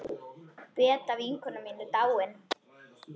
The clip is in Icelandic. Beta vinkona mín er dáin.